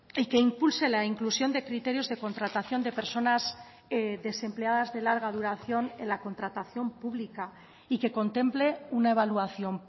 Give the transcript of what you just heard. y que impulse la inclusión de criterios de contratación de personas desempleadas de larga duración en la contratación pública y que contemple una evaluación